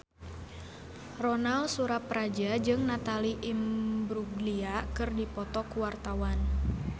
Ronal Surapradja jeung Natalie Imbruglia keur dipoto ku wartawan